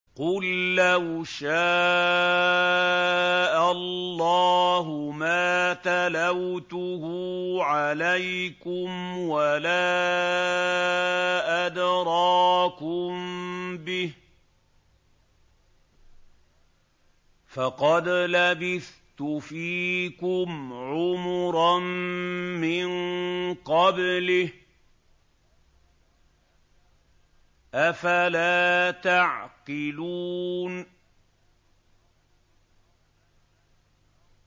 قُل لَّوْ شَاءَ اللَّهُ مَا تَلَوْتُهُ عَلَيْكُمْ وَلَا أَدْرَاكُم بِهِ ۖ فَقَدْ لَبِثْتُ فِيكُمْ عُمُرًا مِّن قَبْلِهِ ۚ أَفَلَا تَعْقِلُونَ